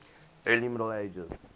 early middle ages